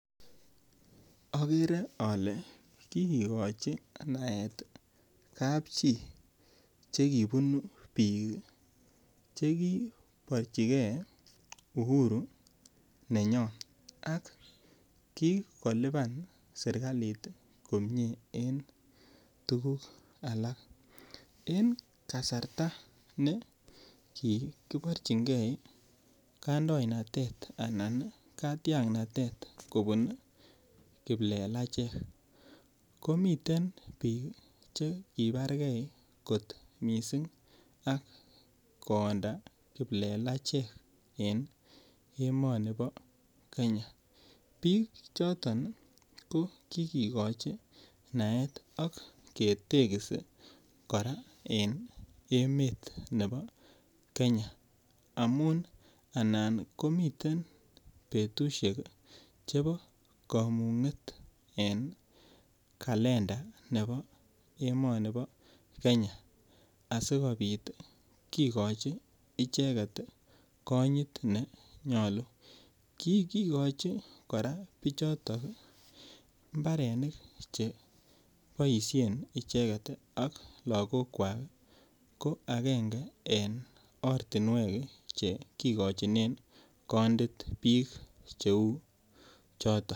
Akere ale kikekochi naet kap chii chekipunu piik cheki porchikei Uhuru nenyoo ak kikolipan serikalit komie en tukuk alak en kasarta nekikiporchinkei kandoinatet anan katiaknatet kopun kiplelachek komiten piik che kuparkei kot mising ak koyonda kiplelachek en emoni po Kenya piik choton ko kikekochi naet ak ketekisi kora en emet nepo Kenya amun anan komiten petushek chepo kamung'et en kalenda nepo emoni po Kenya asikopit kikochi icheket konyit nenyolu kikochi kora Pichoto mbarenik cheboishe icheket ak lakokwach ko akenge eng ortinwek chekikochinen kondit piik cheu choto